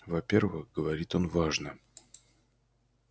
во-первых говорит он важно